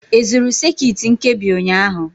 Ị zụrụ sekit nkebi ụnyaahụ?